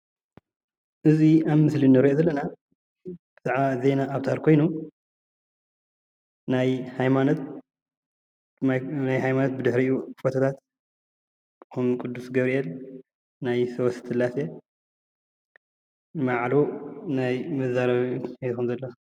እዚ ኣብ ምስሊ እንሪኦ ዘለና ብዛዕባ ናይ ዜና ኣውታር ኮይኑ ናይ ሃይማኖት ብድሕሪኡ ፎቶታት ከም ቅዱስ ገብርኤል ናይ ሶስት ስላሴ እና ባዕሉ ናይ መዛረቢ ማይክ ሒዙ ኣሎ፡፡